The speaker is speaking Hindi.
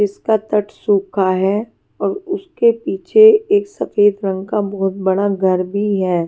इसका तट सूखा है और उसके पीछे एक सफेद रंग का बहुत बड़ा घर भी है।